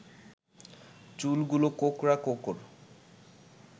চুলগুলো কোঁকড়া-কোঁকড